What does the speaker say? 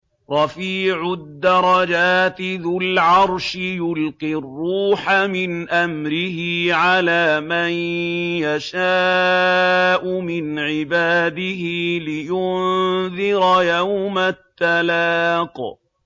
رَفِيعُ الدَّرَجَاتِ ذُو الْعَرْشِ يُلْقِي الرُّوحَ مِنْ أَمْرِهِ عَلَىٰ مَن يَشَاءُ مِنْ عِبَادِهِ لِيُنذِرَ يَوْمَ التَّلَاقِ